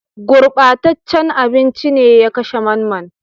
Gurɓataccen abinci ne ya kashe Mamman